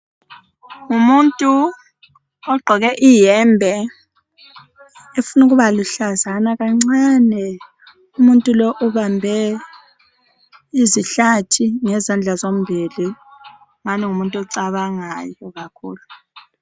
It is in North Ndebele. Ngumuntu ogqoke iyembe efuna ukuba luhlazana kancane umuntu lo ubambe izihlathi ngezandla zombili ngani ngumuntu ocabangayo kakhulu.